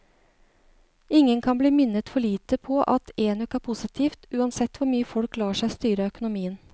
Ingen kan bli minnet for lite på at enøk er positivt, uansett hvor mye folk lar seg styre av økonomien.